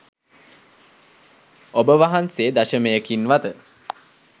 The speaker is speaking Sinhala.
ඔබ වහන්සේ දශමයකින්වත